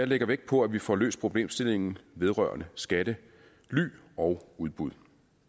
lægger vægt på at vi får løst problemstillingen vedrørende skattely og udbud